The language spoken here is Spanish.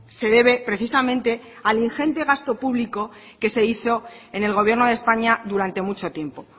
se debe precisamente al ingente gasto público que se hizo en el gobierno de españa durante mucho tiempo